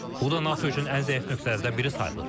Bu da NATO üçün ən zəif nöqtələrdən biri sayılır.